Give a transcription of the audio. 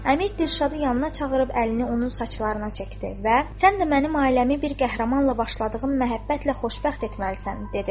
Əmir Dilşadı yanına çağırıb əlini onun saçlarına çəkdi və sən də mənim ailəmi bir qəhrəmanla başladığım məhəbbətlə xoşbəxt etməlisən, dedi.